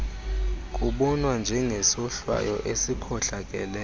kubonwa njengesohlwayo esikhohlakeleyo